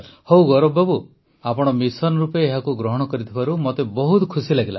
ହଉ ଗୌରବ ବାବୁ ଆପଣ ମିଶନ୍ ରୂପେ ଏହାକୁ ଗ୍ରହଣ କରିଥିବାରୁ ମୋତେ ବହୁତ ଖୁସି ଲାଗିଲା